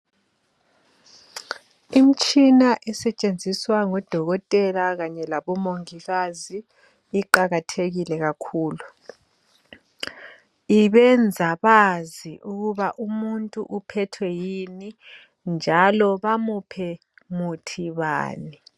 Imitshina esetshenziswa ngodokotela kanye labomongikazi iqakathekile kakhulu ibenza bazi ukuba umuntu uphethwe yini njalo bamuphe muthi bani.